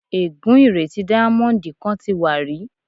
Ègú́n ìrètí díámọ́ńdì kan ti wà rí.